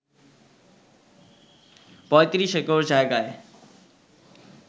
৩৫ acre জায়গায়